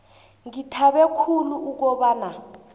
ngithabe khulu ukobana